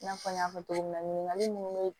I n'a fɔ n y'a fɔ cogo min na ɲininkali munnu be ye